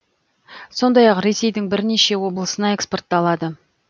сондай ақ ресейдің бірнеше облысына экспортталады